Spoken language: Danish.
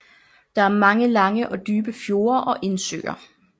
Der er mange lange og dybe fjorde og indsøer